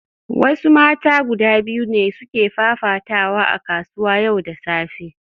Wasu mata guda biyu ne suke fafatawa a kasuwa yau da safe